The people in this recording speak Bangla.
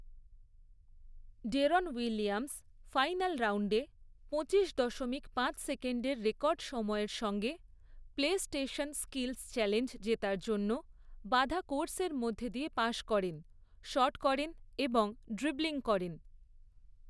ডেরন উইলিয়ামস ফাইনাল রাউন্ডে পঁচিশ দশমিক পাঁচ সেকেন্ডের রেকর্ড সময়ের সঙ্গে প্লেস্টেশন স্কিলস চ্যালেঞ্জ জেতার জন্য বাধা কোর্সের মধ্য দিয়ে পাস করেন, শট করেন এবং ড্রিবলিং করেন।